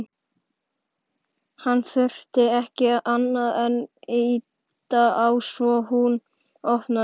Hann þurfti ekki annað en ýta á svo hún opnaðist.